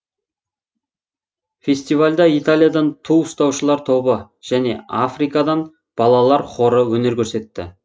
фестивальда италиядан ту ұстаушылар тобы және африкадан балалар хоры өнер көрсетті